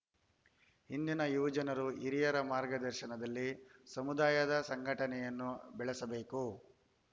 ಇಂದಿನ ಯುವಜನರು ಹಿರಿಯರ ಮಾರ್ಗದರ್ಶನದಲ್ಲಿ ಸಮುದಾಯದ ಸಂಘಟನೆಯನ್ನು ಬೆಳೆಸಬೇಕು